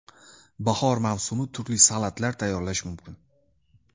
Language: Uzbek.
Bahor mavsumi turli salatlar tayyorlash mumkin.